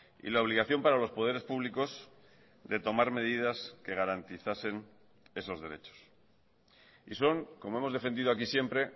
y la obligación para los poderes públicos de tomar medidas que garantizasen esos derechos y son como hemos defendido aquí siempre